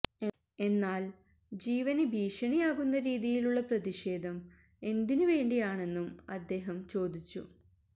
എന്നാല് ജീവന് ഭീഷണിയാകുന്ന രീതിയിലുള്ള പ്രതിഷേധം എന്തിനു വേണ്ടിയാണെന്നും അദ്ദേഹം ചോദിച്ചു